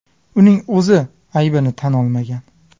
Uning o‘zi aybini tan olmagan.